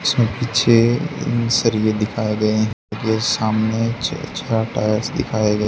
इसमें पीछे सरिये दिखाए गए हैं ये सामने अच्छा अच्छा टायर्स दिखाए गए --